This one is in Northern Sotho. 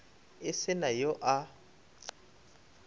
e se na yo a